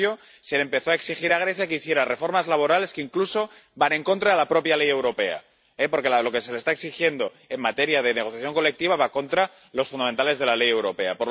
Y, en cambio, se empezó a exigir a Grecia que hiciera reformas laborales que incluso van contra la propia ley europea, porque lo que se le está exigiendo en materia de negociación colectiva va contra los fundamentos de la ley europea.